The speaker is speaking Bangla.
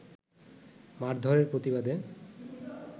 মারধরের প্রতিবাদে